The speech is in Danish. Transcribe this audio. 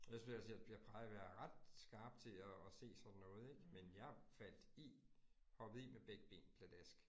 Ellers vil jeg sige, jeg jeg plejer være ret skarp til at at se sådan noget ik, men jeg faldt i. Hoppede i med begge ben pladask